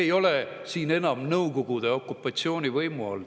Me ei ole siin enam Nõukogude okupatsiooni võimu all.